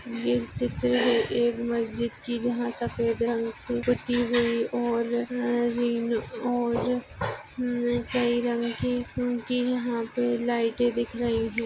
यह चित्र है एक मस्जिद की जहाँ सफ़ेद रंग से पुती हुई और अह और अह कई रंग की उनकी यहाँ पे लाइटे दिख रही है।